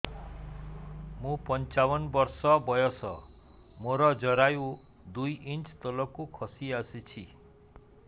ମୁଁ ପଞ୍ଚାବନ ବର୍ଷ ବୟସ ମୋର ଜରାୟୁ ଦୁଇ ଇଞ୍ଚ ତଳକୁ ଖସି ଆସିଛି